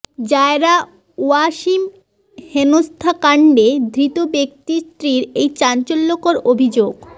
জায়রা ওয়াসিম হেনস্থাকাণ্ডে ধৃত ব্যক্তির স্ত্রীর এই চাঞ্চল্যকর অভিযোগ